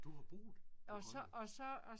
Du har boet på Grønland?